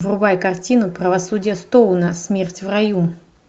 врубай картину правосудие стоуна смерть в раю